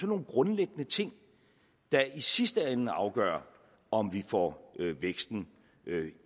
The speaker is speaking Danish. nogle grundlæggende ting der i sidste ende afgør om vi får væksten